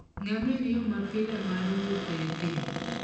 Ngamia en yo mapile mar wuotho e thim.